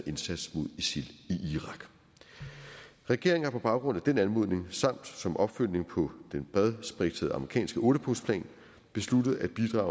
indsats mod isil i irak regeringen har på baggrund af den anmodning samt som opfølgning på den bredspektrede amerikanske ottepunktsplan besluttet at bidrage